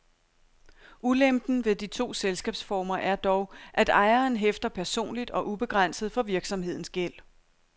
Ulempen ved de to selskabsformer er dog, at ejeren hæfter personligt og ubegrænset for virksomhedens gæld.